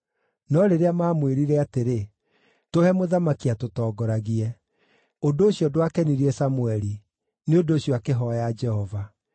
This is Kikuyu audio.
No rĩrĩa maamwĩrire atĩrĩ, “Tũhe mũthamaki atũtongoragie.” Ũndũ ũcio ndwakenirie Samũeli; nĩ ũndũ ũcio akĩhooya Jehova.